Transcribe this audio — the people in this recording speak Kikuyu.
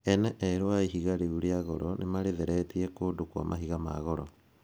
Ene erũ a ihiga rĩu rĩa goro nĩmarĩtheretie kũndũ kwa mahiga ma goro.